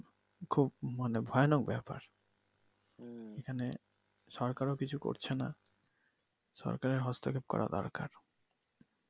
খুব মানে ভয়ানক ব্যাপার এইখানে সরকার ও কিছু করছে নাহ, সরকারের হস্তক্ষেপ করা দরকার ।